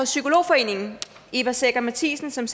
psykolog forening eva secher mathiasen som